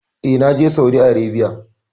E, na je Saudi Arebiya.